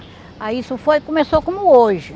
Aí isso foi... Começou como hoje.